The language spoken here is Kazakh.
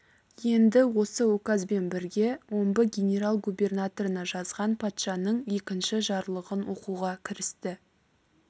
енді осы указбен бірге омбы генерал-губернаторына жазған патшаның екінші жарлығын оқуға кірісті